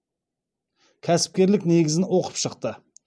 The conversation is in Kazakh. кәсіпкерлік негізін оқып шықты